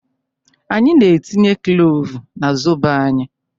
Anyị na-etinye klovu n'zobo anyị